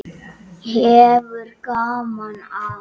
Hefur gaman af.